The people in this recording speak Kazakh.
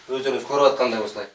өздеріңіз көріватқандай осылай